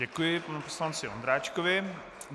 Děkuji panu poslanci Ondráčkovi.